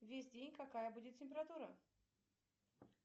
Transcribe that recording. весь день какая будет температура